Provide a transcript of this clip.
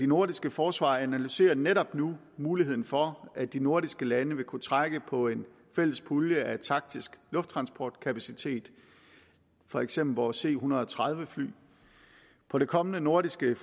nordiske forsvar analyserer netop nu muligheden for at de nordiske lande vil kunne trække på en fælles pulje af taktisk lufttransportkapacitet for eksempel vores c en hundrede og tredive fly på det kommende nordiske